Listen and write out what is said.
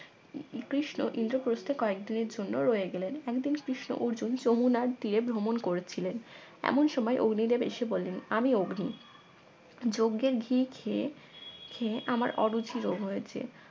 শ্রীকৃষ্ণ ইন্দ্রপ্রস্থে কয়েকদিনের জন্য রয়ে গেলেন একদিন কৃষ্ণ অর্জুন যমুনার তীরে ভ্রমণ করছিলেন এমন সময় অগ্নিদেব এসে বললেন আমি অগ্নি যজ্ঞের ঘি খেয়ে খেয়ে আমার অরুচি রোগ হয়েছে